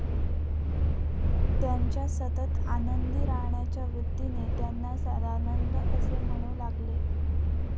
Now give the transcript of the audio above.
त्यांच्या सतत आनंदी राहण्याच्या वृत्तीने त्यांना सदानंद असे म्हणू लागले.